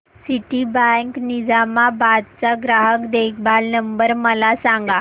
Citibank Nizamabad चा ग्राहक देखभाल नंबर मला सांगा